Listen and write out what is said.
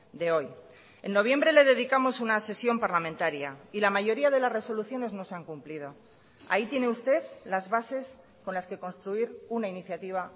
de hoy en noviembre le dedicamos una sesión parlamentaria y la mayoría de las resoluciones no se han cumplido ahí tiene usted las bases con las que construir una iniciativa